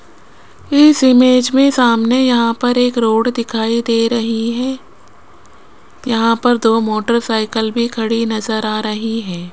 इस इमेज में सामने यहां पर एक रोड दिखाई दे रही है यहां पर दो मोटरसाइकिल भी खड़ी नजर आ रही है।